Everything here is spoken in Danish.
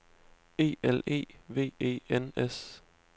E L E V E N S